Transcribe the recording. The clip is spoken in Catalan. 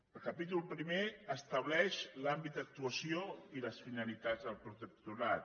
el capítol primer estableix l’àmbit d’actuació i les finalitats del protectorat